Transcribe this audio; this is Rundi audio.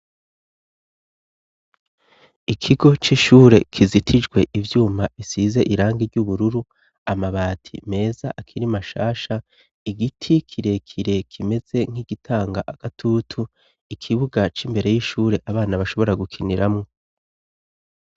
Ikigo c'ishure kizitijwe ivyuma bisize irangi ry'ubururu. Amabati meza akiri mashasha, igiti kirekire kimeze nk'igitanga agatutu, ikibuga c'imbere y'ishure abana bashobora gukiniramwo.